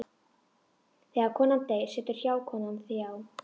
Þegar konan deyr situr hjákonan hjá.